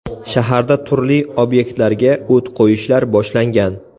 Shaharda turli obyektlarga o‘t qo‘yishlar boshlangan.